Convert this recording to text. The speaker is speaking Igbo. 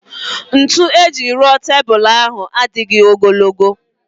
Ntu ejiri rụọ tebul ahụ adịghị ogologo